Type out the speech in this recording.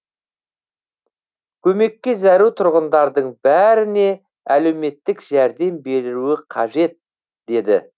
көмекке зәру тұрғындардың бәріне әлеуметтік жәрдем берілуі қажет деді